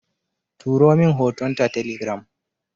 Turomin hoton ta telegiram